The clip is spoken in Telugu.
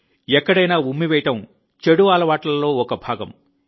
ఎక్కడైనా ఉమ్మివేయడం తప్పు అలవాట్లలో ఒక భాగం